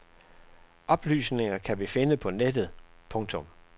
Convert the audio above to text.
Oplysningerne kan vi finde på nettet. punktum